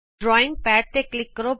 drawing pad ਤੇ click ਕਰੋ